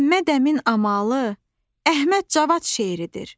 Məmməd Əmin amalı Əhməd Cavad şeiridir.